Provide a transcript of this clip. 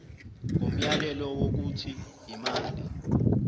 ngomyalelo wokuthi imali